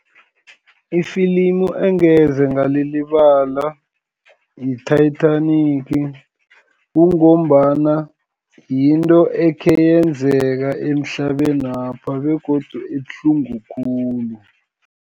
Ifilimu engeze ngalilibala yi-Titanic, kungombana yinto ekheyenzeka emhlabenapha, begodu ibuhlungu khulu.